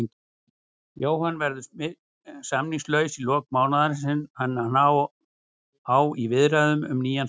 Jóhann verður samningslaus í lok mánaðarins en hann á í viðræðum um nýjan samning.